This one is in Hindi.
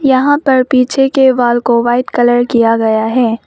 यहां पर पीछे के वॉल को व्हाइट कलर किया गया है।